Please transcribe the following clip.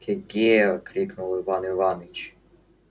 ке-ге крикнул иван иваныч